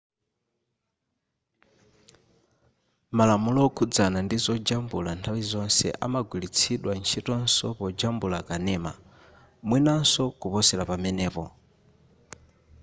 malamulo okhudzana ndi zojambula nthawi zonse amagwiritsidwa ntchitonso pojambula kanema mwinanso kuposera pamenepo